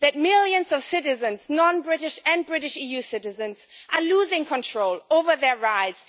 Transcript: Millions of citizens non British and British EU citizens are losing control over their lives.